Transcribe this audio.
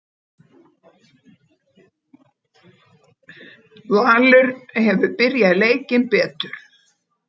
Valur hefur byrjað leikinn betur